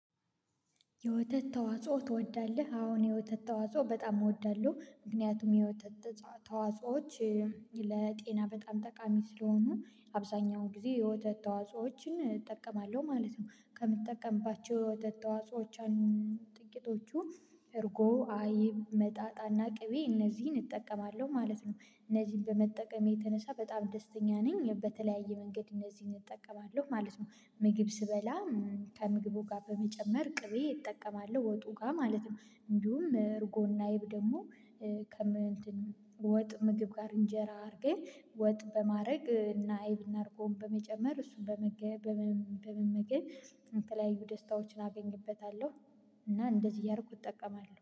የወተት ተዋጽኦ ትወዳለህ? አሁን እኔ የወተት ተዋጽኦ በጣም እወዳለሁ ምክንያቱም የወተት ተዋጽኦዎች ለጤና በጣም ጠቃሚ ስለሆኑ አብዛኛው ጊዜ የወተት ተዋጾዎችን እጠቀማለሁ ማለት ነው። ከምጠቀምባቸው የወተት ተዋጾዎች ጥቂቶቹ እርጎ አይብ መጣጣና ቅቤ እነዚህን እጠቀማለሁ ማለት ነው። እነዚህን በመጠቀም የተነሳ በጣም ደስተኛ ነኝ በተለያየ መንገድ እነዚህን እጠቀማለሁ ማለት ነው። ምግብ ስበላ ከምግቡ ጋር በመጨመር ቅቤ እጠቀማለሁ ወጡ ጋር ማለት ነው። እንዲሁም እርጎና እይብ ደግሞ ከምን እንትን ወጥ ምግብ ጋር እንጀራ አድርጌ ወጥ በማድረግ እና አይብና አድርጎ በመጨመር እሱን በመገኘ በመመገብ የተለያዩ ደስታዎችን አገኝበታለሁ። እና እንደዚህ እያረኩት እጠቀማለሁ